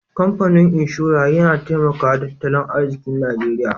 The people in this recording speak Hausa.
kamfanin inshora Yana taimaka da tattalin arziki najeria.